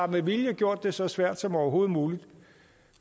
med vilje har gjort det så svært som overhovedet muligt